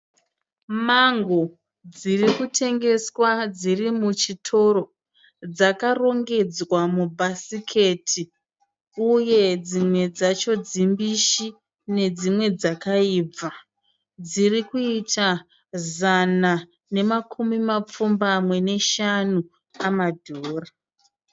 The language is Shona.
Mango dzirikutengeswa dzirimuchitoro dzakarongedzwa mubhasiketi uye dzimwe dzacho dzimbishi nedzimwe dzakaibva dzirikuita zana namakumi mapfumbamwe neshamu amadhora.